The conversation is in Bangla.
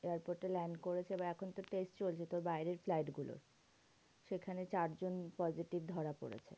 Airport এ land করেছে বা এখন থেকে এসেছে ওর ভেতর বাইরের flight গুলো সেখানে চারজন positive ধরা পড়েছে।